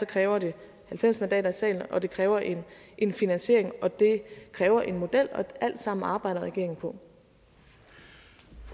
kræver det halvfems mandater i salen og det kræver en en finansiering og det kræver en model og alt sammen arbejder regeringen på